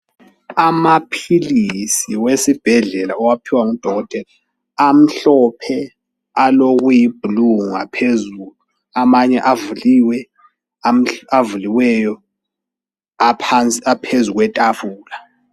Amaphilisi wesibhedlela owaphiwa ngudokotela amhlophe alokuyiblue phezulu. Amanye avuliwe avuliweyo aphezu kwetafula.